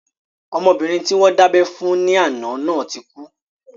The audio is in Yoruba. Ọmọbìnrin tí wọ́n dábẹ́ fún ní àná náà ti kú